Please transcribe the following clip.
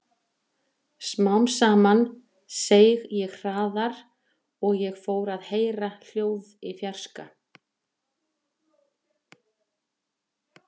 Smám saman seig ég hraðar og ég fór að heyra hljóð í fjarska.